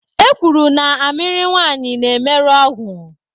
E kwuru na amịrị nwanyị na-emerụ ọgwụ.